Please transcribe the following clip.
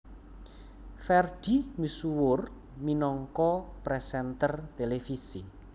Ferdi misuwur minangka presenter televisi